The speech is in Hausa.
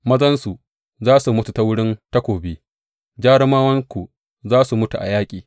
Mazanku za su mutu ta wurin takobi, jarumawanku za su mutu a yaƙi.